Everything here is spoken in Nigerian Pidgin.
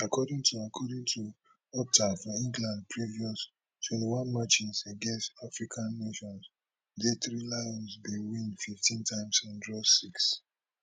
according to according to opta for england previous twenty one matches against african nations di three lions bin win fifteen times and draw six